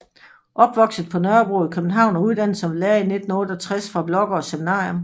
Opvokset på Nørrebro i København og uddannet som lærer i 1968 fra Blaagaard Seminarium